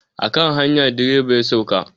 A kan hanya direba ya sauka.